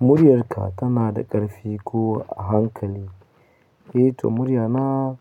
Muryarka tana da ƙarfi ko a hankali? Eh to muryana